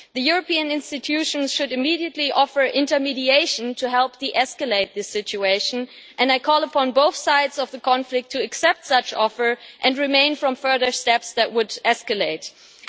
The European institutions should immediately offer intermediation to help de escalate the situation, and I call upon both sides of the conflict to accept such an offer and refrain from further steps that would escalate the situation.